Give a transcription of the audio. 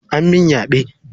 An min yaɓe.